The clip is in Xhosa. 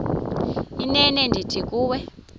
inene ndithi kuwe